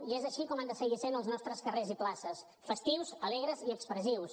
i és així com han de seguir sent els nostres carrers i places festius alegres i expressius